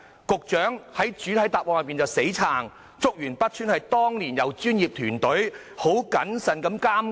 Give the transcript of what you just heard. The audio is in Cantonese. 局長還在主體答覆中"死撐"，說竹園北邨由專業工程團隊很謹慎地監工。